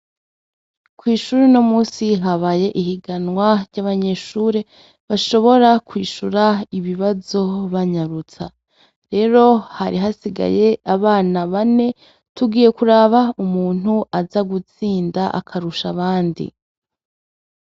Kw'ishuri unomusi habaye ihiganwa ry'abanyeshure, bashobora kwishura ibibazo banyarutsa. Rero hari hasigaye abana bane , tugiye kuraba umuntu aza gutsinda akarush' abandi.